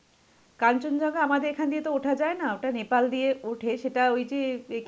কাঞ্চনজঙ্ঘা তো আমাদের এখান দিয়ে ওঠা যাই না. ওটা নেপাল দিয়ে ওঠে সেটা ওই যে কে